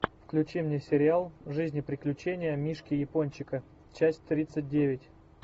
включи мне сериал жизнь и приключения мишки япончика часть тридцать девять